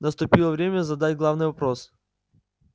наступило время задать главный вопрос